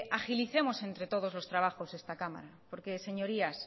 agilicemos entre todos el trabajo a esta cámara porque señorías